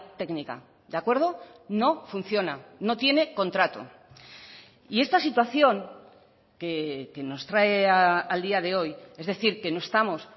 técnica de acuerdo no funciona no tiene contrato y esta situación que nos trae al día de hoy es decir que no estamos